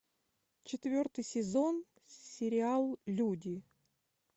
четвертый сезон сериал люди